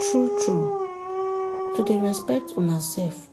true trueto dey respect una sef